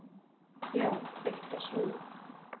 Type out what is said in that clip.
Já, eitthvað svona.